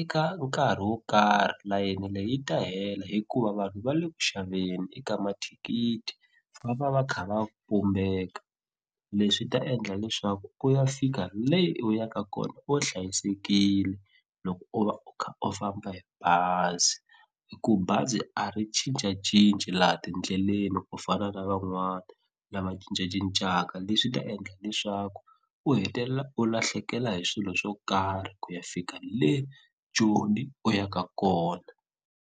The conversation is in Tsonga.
eka nkarhi wo karhi layeni leyi ta hela hikuva vanhu va le ku xaveni eka mathikithi va va va kha va pumbeka leswi ta endla leswaku u ya fika le u yaka kona u hlayisekile loko u va u kha u famba hi bazi i ku bazi a ri cincacinci laha tindlelani ku fana na van'wani lava cincacincaka leswi ta endla leswaku u hetelela u lahlekela hi swilo swo karhi ku ya fika le Joni u ya ka kona.